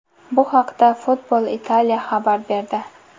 Bu haqda Football Italia xabar berdi .